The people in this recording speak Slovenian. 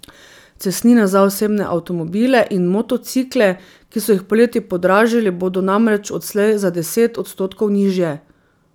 Cestnine za osebne avtomobile in motocikle, ki so jih poleti podražili, bodo namreč odslej za deset odstotkov nižje.